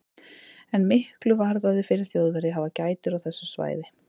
En miklu varðaði fyrir Þjóðverja að hafa gætur á þessu svæði.